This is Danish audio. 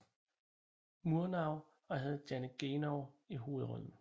Murnau og havde Janet Gaynor i hovedrollen